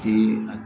Ti a